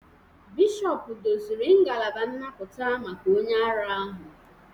Bishọp doziri ngalaba nnapụta maka onye ara ahụ